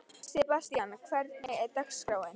Sebastian, hvernig er dagskráin?